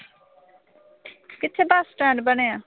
ਕਿੱਥੇ bus stand ਬਣਿਆ?